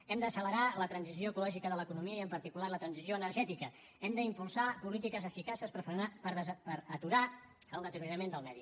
hem d’accelerar la transició ecològica de l’economia i en particular la transició energètica hem d’impulsar polítiques eficaces per aturar el deteriorament del medi